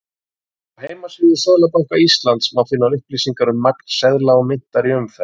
Á heimasíðu Seðlabanka Íslands má finna upplýsingar um magn seðla og myntar í umferð.